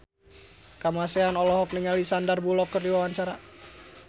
Kamasean olohok ningali Sandar Bullock keur diwawancara